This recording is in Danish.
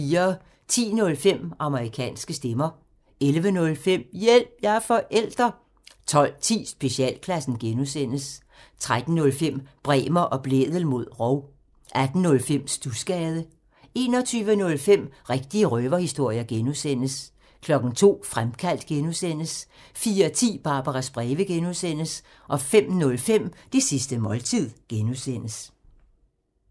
10:05: Amerikanske stemmer 11:05: Hjælp – jeg er forælder! 12:10: Specialklassen (G) 13:05: Bremer og Blædel mod rov 18:05: Studsgade 21:05: Rigtige røverhistorier (G) 02:00: Fremkaldt (G) 04:10: Barbaras breve (G) 05:05: Det sidste måltid (G)